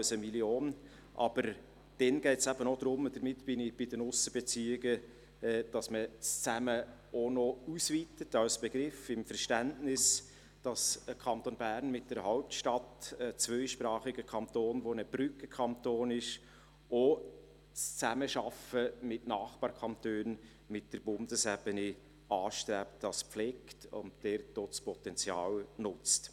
Es geht aber eben auch darum – und damit bin ich bei den Aussenbeziehungen –, dass man das «Zusammen» als Begriff auch noch ausweitet, im Verständnis, dass der Kanton Bern mit einer Hauptstadt, ein zweisprachiger Brückenkanton, auch die Zusammenarbeit mit Nachbarkantonen und mit der Bundesebene anstrebt, dass er dies pflegt und auch dort das Potenzial nutzt.